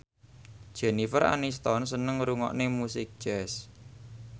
Jennifer Aniston seneng ngrungokne musik jazz